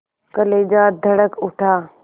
कलेजा धड़क उठा